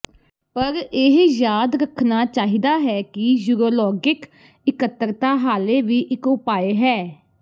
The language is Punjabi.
ਪਰ ਇਹ ਯਾਦ ਰੱਖਣਾ ਚਾਹੀਦਾ ਹੈ ਕਿ ਯੂਰੋਲੌਗਿਕ ਇਕੱਤਰਤਾ ਹਾਲੇ ਵੀ ਇੱਕ ਉਪਾਅ ਹੈ